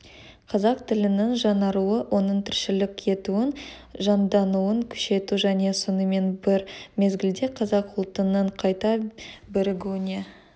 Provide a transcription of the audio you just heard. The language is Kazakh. қазақ тілінің жаңаруы оның тіршілік етуін жандануын күшейту және сонымен бір мезгілде қазақ ұлтының қайта бірігуіне